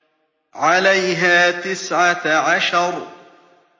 عَلَيْهَا تِسْعَةَ عَشَرَ